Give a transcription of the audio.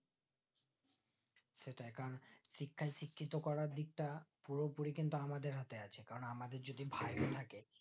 সেটাই কারণ শিখাই শিক্ষিত করার দিকটা পুরোপুরি কিন্তু আমাদের হাতে আছে কারণ আমাদের যদি ভাই থাকে